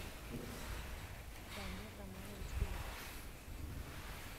данир романович беляк